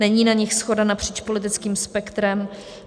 Není na nich shoda napříč politickým spektrem.